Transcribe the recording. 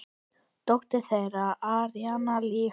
Dóttir þeirra: Aríanna Líf.